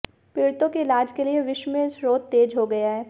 पीडि़तों के इलाज के लिए विश्व में शोध तेज हो गया है